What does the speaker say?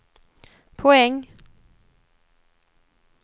poäng